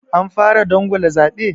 Anfara dangwala zaɓe?